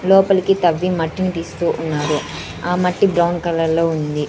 లోపలికి తవ్వి మట్టిని తీస్తూ ఉన్నారు ఆ మట్టి బ్రౌన్ కలర్ లో ఉంది.